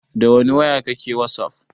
Dawani waya kake wasaf?